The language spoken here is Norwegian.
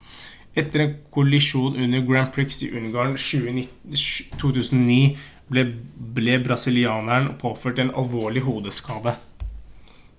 etter en kollisjon under grand prix i ungarn i 2009 ble brasilianeren påført en alvorlig hodeskade